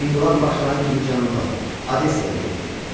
İnqilab başlayan kimi cənuba, Odessaya getdi.